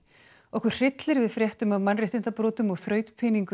okkur hryllir við fréttum af mannréttindabrotum og